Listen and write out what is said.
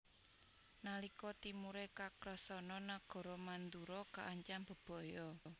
Nalika timure Kakrasana nagara Mandura kaancam bebaya